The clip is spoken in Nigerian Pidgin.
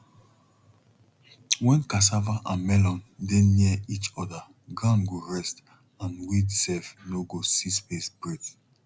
when cassava and melon dey near each other ground go rest and weed self nor go see space breath